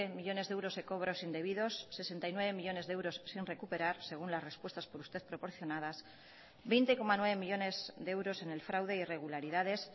millónes de euros de cobros indebidos sesenta y nueve millónes de euros sin recuperar según las respuestas por usted proporcionadas veinte coma nueve millónes de euros en el fraude e irregularidades